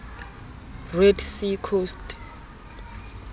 red sea coast